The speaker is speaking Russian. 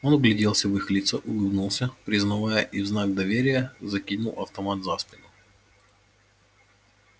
он вгляделся в их лица улыбнулся признавая и в знак доверия закинул автомат за спину